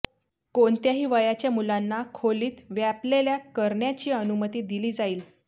कोणत्याही वयाच्या मुलांना खोलीत व्यापलेल्या करण्याची अनुमती दिली जाईल